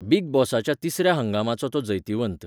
Big बॉसाच्या तिसऱ्या हंगामाचो तो जैतिवंत.